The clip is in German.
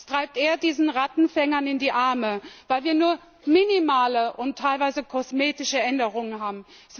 Es spielt eher diesen Rattenfängern in die Hände, weil wir nur minimale und teilweise kosmetische Änderungen haben.